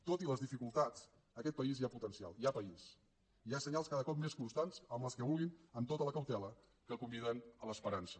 tot i les dificultats en aquest país hi ha potencial hi ha país hi ha senyals cada cop més constants amb les que vulguin amb tota la cautela que conviden a l’esperança